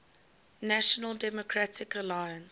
national democratic alliance